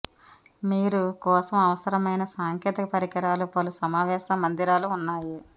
మీరు కోసం అవసరమైన సాంకేతిక పరికరాలు పలు సమావేశ మందిరాలు ఉన్నాయి